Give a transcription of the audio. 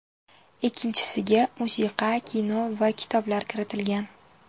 Ikkinchisiga musiqa, kino va kitoblar kiritilgan.